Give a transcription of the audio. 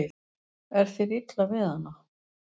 Er þér illa við hana?